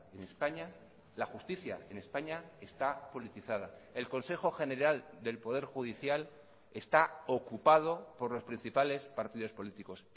en españa la justicia en españa está politizada el consejo general del poder judicial está ocupado por los principales partidos políticos